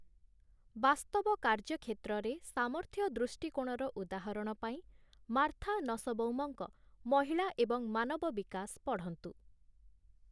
ବାସ୍ତବ କାର୍ଯ୍ୟକ୍ଷେତ୍ରରେ 'ସାମର୍ଥ୍ୟ ଦୃଷ୍ଟିକୋଣ'ର ଉଦାହରଣ ପାଇଁ ମାର୍ଥା ନସବଉମଙ୍କ 'ମହିଳା ଏବଂ ମାନବ ବିକାଶ' ପଢ଼ନ୍ତୁ ।